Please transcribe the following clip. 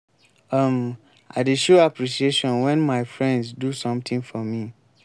um i dey show appreciation wen my friends do sometin for me.